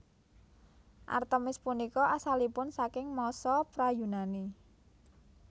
Artemis punika asalipun saking masa pra Yunani